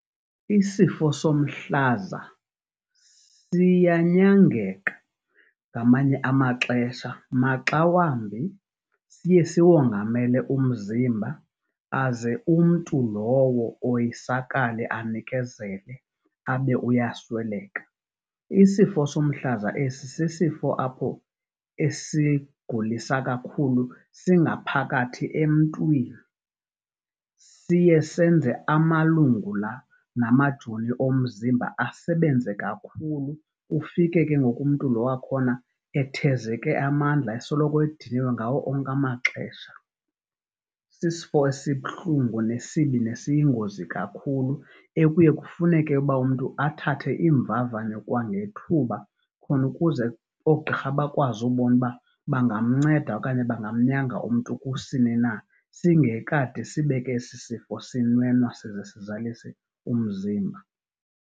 Isifo somhlaza siyanyangeka ngamanye amaxesha maxa wambi siye siwongamele umzimba aze umntu lowo oyisakale anikezele abe uyasweleka. Isifo somhlaza esi sisifo apho esigulisa kakhulu singaphakathi emntwini. Siye senze amalungu la namajoni omzimba asebenze kakhulu, ufike ke ngoku umntu lo wakhona ethezeke amandla esoloko ediniwe ngawo onke amaxesha. Sisifo esibuhlungu nesibi nesiyingozi kakhulu ekuye kufuneke uba umntu athathe iimvavanyo kwangethuba khona ukuze oogqirha bakwazi ubona uba bangamnceda okanye bangamnyanga umntu kusini na singekade sibe ke esi sifo sinwenwa size sizalise umzimba.